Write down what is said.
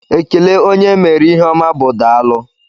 Ekele onye e meere ihe oma bụ daalu